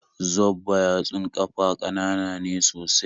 Zobba yatsun ƙafa ƙanana ne sosai